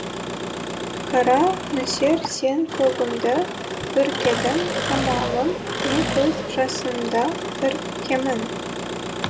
қара нөсер сен көгімді бүркедің амалым не көз жасымды іркемін